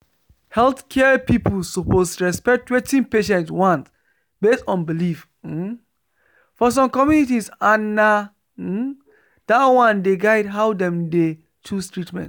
healthcare people suppose respect wetin patients want based on belief um for some communities and na um that one dey guide how dem dey choose treatment